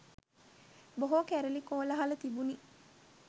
බොහෝ කැරළි කෝලාහල තිබුණි